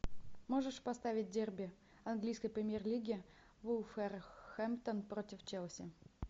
можешь поставить дерби английской премьер лиги вулверхэмптон против челси